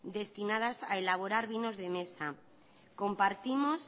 destinadas a elaborar vinos de mesa compartimos